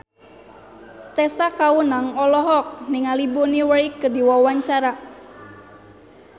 Tessa Kaunang olohok ningali Bonnie Wright keur diwawancara